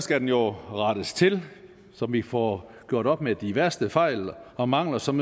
skal den jo rettes til så vi får gjort op med de værste fejl og mangler som